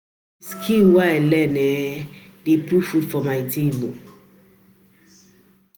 Na the skills wey I learn um dey put food for my table